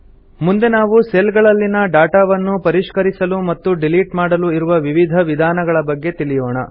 ಮುಂದೆ ನಾವು ಸೆಲ್ ಗಳಲ್ಲಿನ ಡಾಟಾವನ್ನು ಪರಿಷ್ಕರಿಸಲು ಮತ್ತು ಡಿಲೀಟ್ ಮಾಡಲು ಇರುವ ವಿವಿಧ ವಿಧಾನಗಳ ಬಗ್ಗೆ ತಿಳಿಯೋಣ